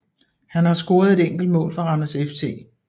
Han har scoret et enkelt mål for Randers FC